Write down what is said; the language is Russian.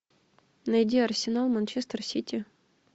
найди арсенал манчестер сити